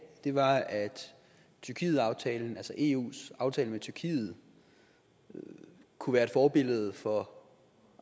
var at tyrkietaftalen altså eus aftale med tyrkiet kunne være et forbillede for